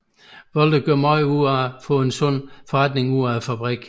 Walther og gør meget for at få en sund forretning ud af fabrikken